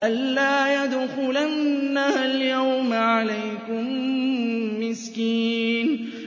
أَن لَّا يَدْخُلَنَّهَا الْيَوْمَ عَلَيْكُم مِّسْكِينٌ